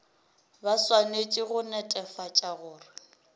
ba swanetše go netefatša gore